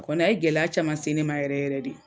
Kɔni a ye gɛlɛya caman se ne ma yɛrɛ yɛrɛ de